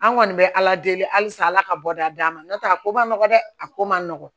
An kɔni bɛ ala deli halisa ala ka bɔda d'an ma n'o tɛ a ko ma nɔgɔn dɛ a ko man nɔgɔn